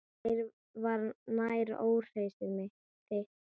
Þér var nær, óhræsið þitt.